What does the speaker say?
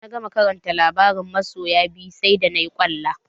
Da na gama karanta labaran masoya biyu sai da nayi ƙwalla.